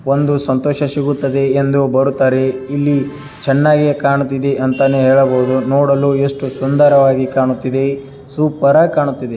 ಒಂದು ಸಂತೋಷ ಸಿಗುತ್ತದೆ ಎಂದು ಬರುತ್ತಾರೆ ಇಲ್ಲಿ ಚೆನ್ನಾಗಿ ಕಾಣುತ್ತಿದೆ ಅಂತಲೇ ಹೇಳಬಹುದು ನೋಡಲು ಎಷ್ಟು ಸುಂದರವಾಗಿ ಕಾಣುತ್ತಿದೆ ಸೂಪರ್ ಆಗಿ ಕಾಣ್ತಿದೆ.